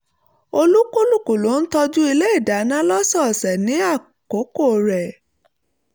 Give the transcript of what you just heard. olúkúlùkù ló ń tọ́jú ilé ìdáná lọ́sọ̀ọ̀sẹ̀ ní àkókò rẹ̀